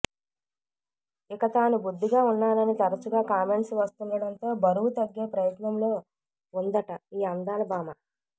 ఇక తాను బొద్దుగా ఉన్నానని తరచుగా కామెంట్స్ వస్తుండడంతో బరువు తగ్గే ప్రయత్నంలో ఉందట ఈ అందాల భామ